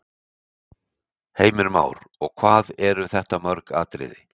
Heimir Már: Og hvað eru þetta mörg atriði?